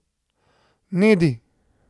Nedi.